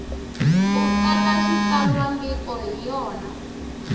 u tsala xitsalwambiko hi yona